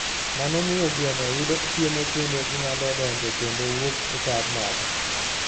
Mano miyo gweno yudo chiemo kendo ginyalo donjo kendo wuok e kar mach.